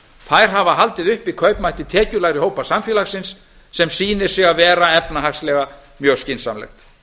þær hafa haldi uppi kaupmætti tekjulægri hópa samfélagsins sem sýnir sig að vera efnahagslega mjög skynsamlegt